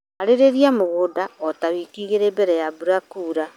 Harĩrĩria mũgũnda o ta wiki igĩrĩ mbere ya mbura kũanjia kuura.